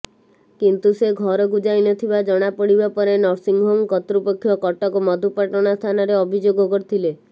କିନ୍ତୁ ସେ ଘରକୁ ଯାଇ ନଥିବା ଜଣାପଡ଼ିବା ପରେ ନର୍ସିଂହୋମ କର୍ତ୍ତୃପକ୍ଷ କଟକ ମଧୁପାଟଣା ଥାନାରେ ଅଭିଯୋଗ କରିଥିଲେ